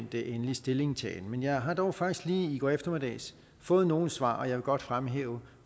den endelige stillingtagen men jeg har dog faktisk lige i går eftermiddags fået nogle svar og jeg vil godt fremhæve